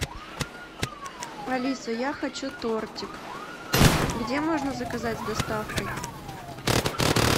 алиса я хочу тортик где можно заказать с доставкой